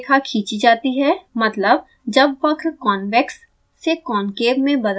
मतलब जब वक्र convex से concave में बदलता है